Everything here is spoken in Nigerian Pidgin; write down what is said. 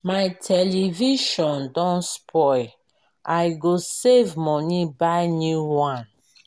my television don spoil i go save moni buy new one.